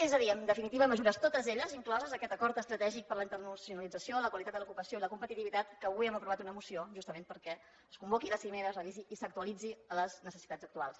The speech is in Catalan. és a dir en definitiva mesures totes elles incloses en aquest acord estratègic per a la internacionalització la qualitat de l’ocupació i la competitivitat que avui hem aprovat una moció justament perquè es convoqui la cimera es revisi i s’actualitzi a les necessitats actuals